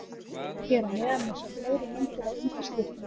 Hér að neðan má sjá fleiri myndir af undirskriftinni.